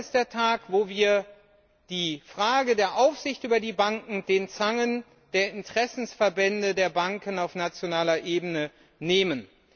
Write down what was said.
Heute ist der Tag, an dem wir die Frage der Aufsicht über die Banken aus den Zangen der Interessensverbände der Banken auf nationaler Ebene nehmen.